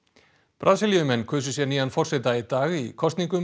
Brasilíumenn kusu sér nýjan forseta í dag í kosningum